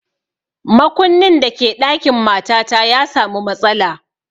Makunnin da ke ɗakin matata ya samu matsala